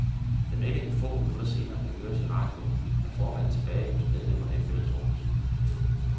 Da meldingen få minutter senere kan høres i radioen, er formanden tilbage hos medlemmerne i fællesrummet.